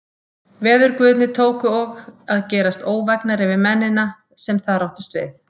Veðurguðirnir tóku og að gerast óvægnari við mennina, sem þar áttust við.